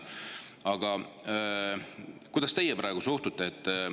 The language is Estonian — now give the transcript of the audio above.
Aga kuidas teie suhtute?